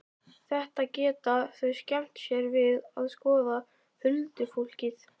Þetta geta þau skemmt sér við að skoða, huldufólkið.